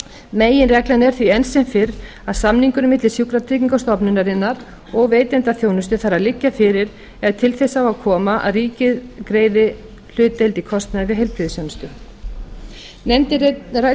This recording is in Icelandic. meginreglan er því enn sem fyrr að samningur milli sjúkratryggingastofnunarinnar og veitenda þjónustu þarf að liggja fyrir ef til þess á að koma að ríkið greiði hlutdeild í kostnaði við heilbrigðisþjónustu